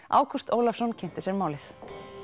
Ágúst Ólafsson kynnti sér málið